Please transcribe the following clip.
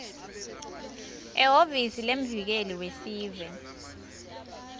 ehhovisi lemvikeli wesive